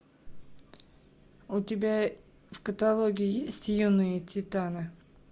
у тебя в каталоге есть юные титаны